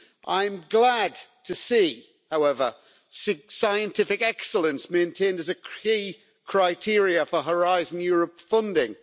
I'm glad to see, however, scientific excellence maintained as a key criteria for Horizon Europe funding.